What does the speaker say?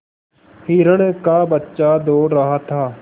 हिरण का बच्चा दौड़ रहा था